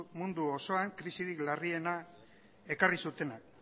mundu osoan krisirik larriena ekarri zutenak